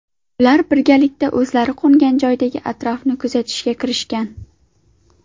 Ular birgalikda o‘zlari qo‘ngan joydagi atrofni kuzatishga kirishgan.